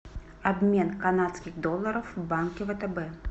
обмен канадских долларов в банке втб